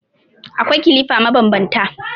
Akwai kilifa mabanbanta.